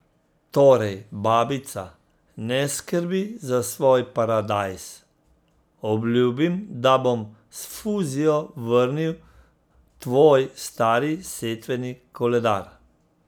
Torej babica, ne skrbi za svoj paradajz, obljubim, da bom s fuzijo vrnil tvoj stari setveni koledar!